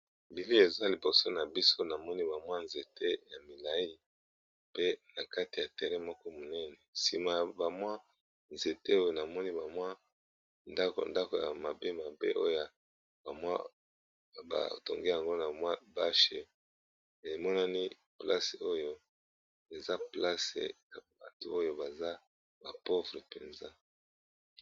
Bili eza liboso na biso na moni bamwa nzete ya milai. Pe na kati ya terain moko monene, sima ya bamwa nzete oyo na moni bamwa ndako ndako ya mabe mabe oyo bamwa batonge yango na mwa bashe emonani place oyo eza place ya bati oyo baza ba pouvre mpenza.